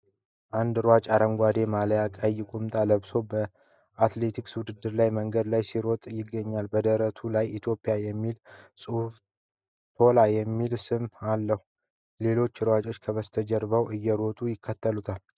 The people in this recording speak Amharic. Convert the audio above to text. አንድ ሯጭ አረንጓዴ ማሊያና ቀይ ቁምጣ ለብሶ በአትሌቲክስ ውድድር ላይ መንገድ ላይ ሲሮጥ ይገኛል። በደረቱ ላይ "ETHIOPIA" የሚል ጽሑፍና "TOLA" የሚል ስም አለው። ሌሎች ሯጮች ከበስተጀርባው እየሮጡ ይከተላሉ።